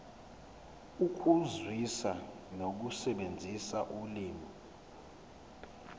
ukuzwisisa nokusebenzisa ulimi